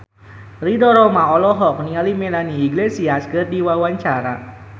Ridho Roma olohok ningali Melanie Iglesias keur diwawancara